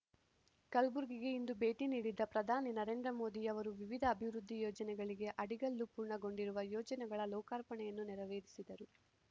ಕಲ್ಬುರ್ಗಿಗೆ ಇಂದು ಭೇಟಿ ನೀಡಿದ ಪ್ರಧಾನಿ ನರೇಂದ್ರ ಮೋದಿಯವರು ವಿವಿಧ ಅಭಿವೃದ್ಧಿ ಯೋಜನೆಗಳಿಗೆ ಅಡಿಗಲ್ಲು ಪೂರ್ಣಗೊಂಡಿರುವ ಯೋಜನೆಗಳ ಲೋಕಾರ್ಪಣೆಯನ್ನು ನೆರವೇರಿಸಿದರು